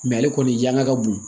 ale kɔni jaɲa ka bon